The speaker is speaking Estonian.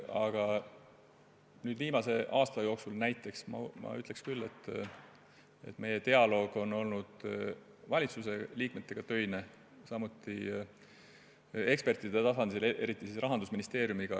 Aga näiteks viimase aasta kohta ütleks ma küll, et meie dialoog valitsuse liikmetega on olnud töine, samuti ekspertidega, eriti Rahandusministeeriumiga.